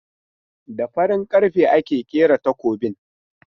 Da farin karfe aka kera takobin.